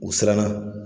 U siranna